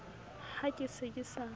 ha ke se ke sa